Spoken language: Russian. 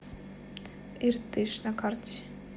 иртыш на карте